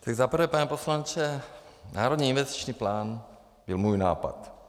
Tak za prvé, pane poslanče, Národní investiční plán byl můj nápad.